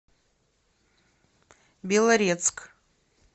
белорецк